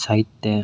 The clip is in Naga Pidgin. side tey--